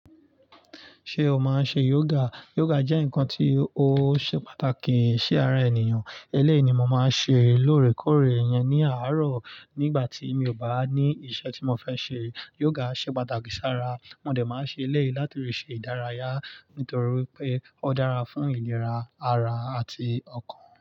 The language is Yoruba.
Ṣé o máa ń ṣe yoga? Yoga jẹ́ nǹkan tí ó ṣe pàtàkì sí ara ènìyàn. Eléyi ni mo máa ń ṣe lóòrèkóòrè yẹn ní àárọ̀ nígbà tí mi ò bá ní iṣẹ́ tí mo fẹ́ ṣe. Yoga ṣe pàtàkì sí ara. Mòdẹ̀ máa ṣe ẹ lẹ́yìn láti rí ṣe ìdárayá torí pé ó dára fún ìlera ara àti ọkàn.